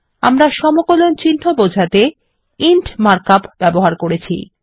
আমরা সমকলন চিন্হ বোঝাতে ইন্ট মার্ক আপ ব্যবহার করেছি